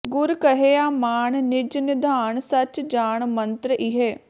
ਗੁਰ ਕਹਿਆ ਮਾਨੁ ਨਿਜ ਨਿਧਾਨੁ ਸਚੁ ਜਾਨੁ ਮੰਤ੍ਰੁ ਇਹੈ